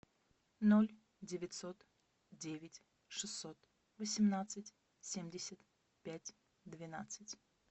ноль девятьсот девять шестьсот восемнадцать семьдесят пять двенадцать